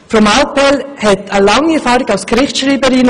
Frau Mallepell bringt lange Erfahrung als Gerichtsschreiberin mit.